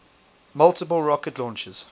multiple rocket launchers